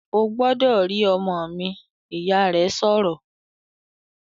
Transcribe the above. "Ó gbọ́dọ̀ rí ọmọ mi!", Ìyá rẹ̀ sọ̀rọ̀